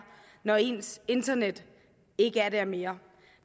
når ens internet ikke er der mere